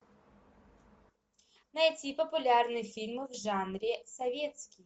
найти популярные фильмы в жанре советский